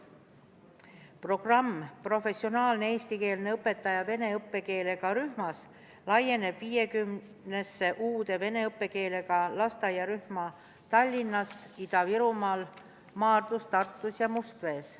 Programm "Professionaalne eestikeelne õpetaja vene õppekeelega rühmas" laieneb 50-sse uude vene õppekeelega lasteaiarühma Tallinnas, Ida-Virumaal, Maardus, Tartus ja Mustvees.